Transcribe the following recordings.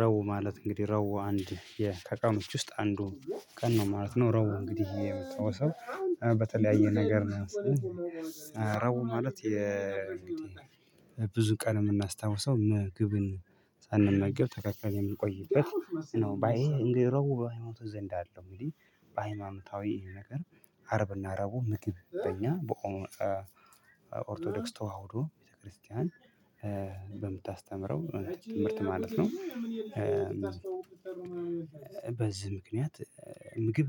ረብ ማለት እንግዲህ ረብ አንድ የተቀመጡት ውስጥ አንዱ ቀን ነው ማለት ነው። ረብ እንግዲህ የምትተወሰው በተለያየ ነገር ነው። ረብ ማለት የ ብዙ ቀን የምናስታውሰው ምግብን ሳንመገብ ተከልክለን የምንቆይበት ባይ ረቡ በሀይማኖት ዘንድ አለው። እንግዲህ በሃይማኖታዊ ነገር አርብና ረቡ ምግብ በኦርቶዶክስ ተዋህዶ ቤተክርስቲያን በምታስተምረው ትምህርት ማለት ነው። በዚህ ምክንያት ምግብ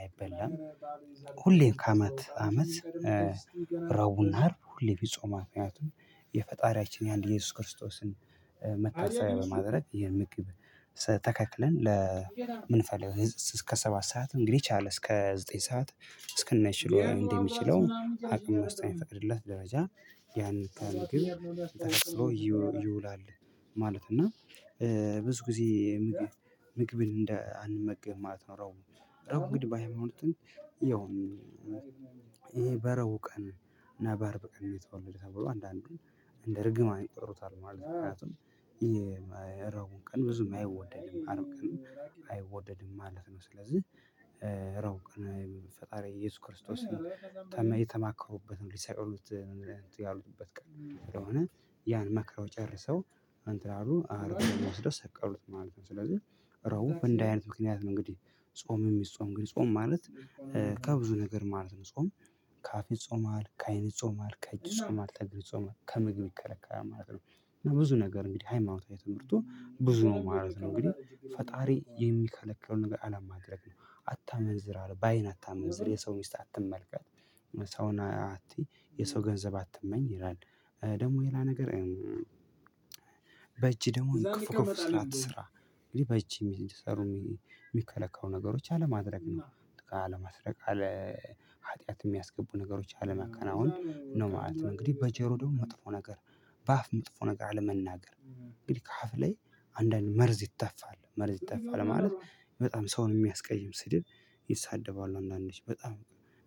አይበላም። ሁሌም ከአመት አመት። ረቡና አርብ ሁሌ ቢጾም መክንያቱ የፈጣሪያችን የአንድ ኢየሱስ ክርስቶስን መታሰቢያ በማድረግ ይህ ምግብ ተከልክለን ለምንፈልገው እስከ ሰባት ሰዓት እንግዲህ የቻለ እስከ ዘጠኝ ሰዓት እስከነቻሎታው እንደሚችለው አቅሙ እስከ ሚፈቅድለት ደረጃ ያንን ከምግብ ተሸፍኖ ይውላል። ማለት እና ብዙ ጊዜ ምግብ ምግብን እንዳንመገብ ማለት ነው። ረቡ ረብ እንግዲህ ባይማኖት። ያው ይሄ በረቡ ቀን እና አርብ ቀን የተወለደ ተብሎ አንዳንዱ እንደ እርግማ አይጠሩታል ማለት ነው። ምክንያቱም ረቡ ቀን ብዙም አይወደድም አረብ ቀን አይወደድም ማለት ነው። ስለዚህ ረቡ ቀን ፈጣሪ ኢየሱስ ክርስቶስን የተማከሩበትን ሊሰቅሉት እንትን ያሉበት ቀን ስለሆነ ያን መክረው ጨርሰው አንተ አሉ አርብ ወስደው ሰቀሉት ማለት ነው። ስለዚህ ረቡ እንዲ አይነት ምክንያት ነው። እንግዲህ ጾም የሚጾም ግን ጾም ማለት ከብዙ ነገር ማለት ነው። ጾም ከአፌ ይጾማል ከአይን ይጾማ ከእጅ ይጾማል ከእግር ይጾማል ከምግብ ይከለከላል ማለት ነው። ብዙ ነገር እንግዲህ ሃይማኖታዊ ትምህርቱ ብዙ ነው ማለት ነው። እንግዲህ ፈጣሪ የሚከለቀው ነገር አላማድረግ ነው አታመንዝር አለ በአይን አታመንዝር የሰው ሚስት አትመልከት። ሰውን አትይ የሰው ገንዘብ አትመኝ ይላል። ደግሞ የሌላ ነገር በእጅ ደግሞ ክፉ ክፉ ስራ አትሰራ። እንግዲህ በእጅ የሚሰሩ የሚከለከሉ ነገሮች አለማድረግ ነው። አለማድረግ አለሀጥያት ኃጥያት የሚያስገቡ ነገሮች አለመከናወን ነው ማለት ነው። እንግዲህ በጆሮው መጥፎ ነገር በአፍ መጥፎ ነገር አለመናገር። እንግዲህ ከአፍ ላይ አንዳንድ መርዝ ይተፋል መርዝ ይተፋል ማለት በጣም ሰውን የሚያስቀይም ስድብ ይሳደባሉ አንዳንዶች በጣም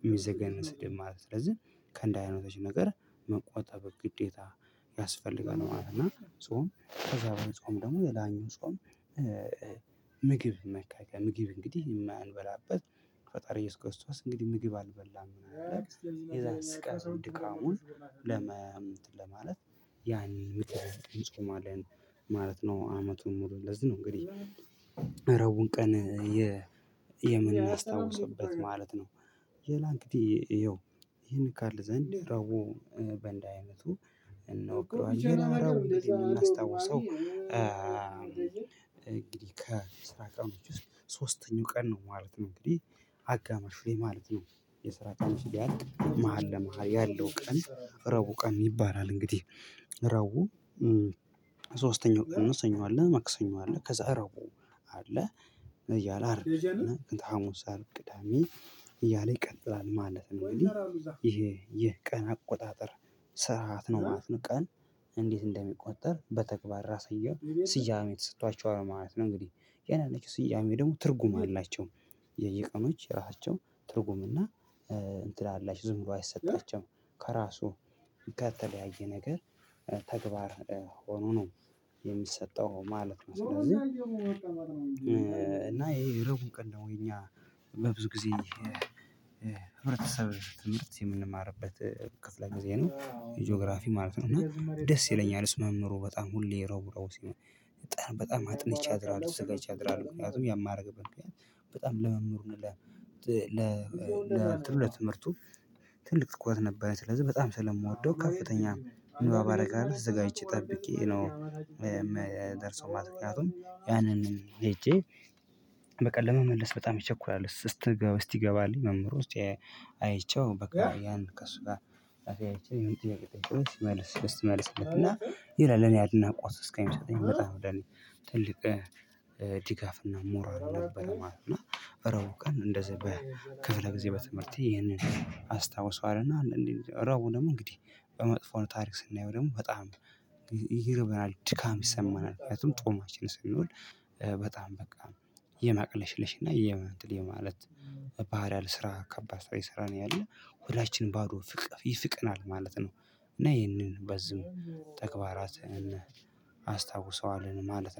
የሚዘገንን ስድብ ማለት ነው። ስለዚህ ከእንደ አይነቶች ነገር መቆጣጠብ ግዴታ ያስፈልጋል ማለት ነው። ጾም ከዛ በኋላ ጾም ደግሞ የላኛው ጾም። ምግብ መከከል ምግብ እንግዲህ የማንበላበት ፈጣሪ ኢየሱስ ክርስቶስ እንግዲህ ምግብ አልበላም ብለን የዛን ስቃይ ድካሙን ለመ እንትን ለማለት ያኔ ይጾማለን ማለት ነው። አመቱን ሙሉ ለዚህ ነው እንግዲህ እረቡን ቀን የምናስታውስበት ማለት ነው። ሌላ እንግዲ ይሄን ካል ዘንድ ረቡ በእንደዚህ አይነቱ እንወክለዋለን። ሌላኛው እምናስታውሰው እንግዲህ ከስራ ቀኖች ውስጥ ሶስተኛው ቀን ነው ማለት ነው እንግዲህ አጋማሽ ላይ ማለት ነው። የስራ ቀንሽ ሊያልቅ መሃል ለመሃል ያለው ቀን ረቡ ቀን ይባላል። እንግዲህ ረቡ ሶስተኛው ቀን ሰኞ መክሰኞ አለ ከዛ ረቡ አለ እያለ አርብ እና ከታሙሳ አር ቅዳሜ እያለ ይቀጥላል። ማለት እንግዲህ ይሄ ይሄ ቀን አቆጣጠር ስርዓት ነው ማለት ነው። ቀን እንዴት እንደሚቆጠር በተግባር ራሳቸው ስያሜ ተሰጥቷቸዋል ማለት ነው። እንግዲህ ያንዳንዶቹ ስያሜ ደግሞ ትርጉም አላቸው። የየቀኖች የራሳቸው ትርጉም እና እንትን አላችሁ ዝም ብሎ አይሰጣቸውም። ከራሱ ከተለያየ ነገር ተግባር ሆኖ ነው የሚሰጠው ማለት ነው። ስለዚህ እና ይሄ ርቡቅ ነው። የኛ በብዙ ጊዜ ህብረተሰብ ትምህርት የምንማርበት ክፍለ ጊዜ ነው ጂኦግራፊ ማለት ነው። እና ደስ ይለኛል እስመ ምሁሩ በጣም ሁሌ ረቡረቡ ሲሆን በጣም አጥንቼ አድራለሁ ተዘጋጅ አድራለሁ። ምክንያቱም ያን ማረግበት ምክንያት በጣም ለመምህሩ ለትምህርት ትምህርቱ ትልቅ ትኩረት ነበር ስለዚህ በጣም ስለምወደው ከፍተኛ ንባብ አረጋለሁ ተዘጋጅቼ ጠብቄ ነው የምደርሰው ማለት ነው። ምክንያቱም ያንን ሄጄ በቃ ለመመለስ በጣም እቸኩላለሁ። እስቲ እስቲ ገባልኝ መምህር ውስጥ አይቼው በቃ ያን ከእሱ ጋር አይቼው ይመልስልና ይላል እኔ አድናቆት እስኪሚመስለኝ ትልቅ ድጋፍና ሞራል ነበረ ማለት ነው። እና እረቡ ቀን እንደዚህ በክፍለ ጊዜ በትምህርቴ ይህንን አስታውሰዋል እና እንዴ ረቡ ደግሞ እንግዲህ በመጥፎ ታሪክ ስናየው ደግሞ በጣም ይርበናል። ድካም ይሰማናል ምክንያቱም ጦማችን ስንኖር በጣም በቃ የማቅለሽለሽና የማንጥል የማለት ባህሪያል ስራ ከባድ ስራ የሰራ ነው ያለው ሁላችን ባዶ ፍቅር ይስቀናል ማለት ነው። እና ይህንን በዚህም ተግባራትን አስታውሰዋለን ማለት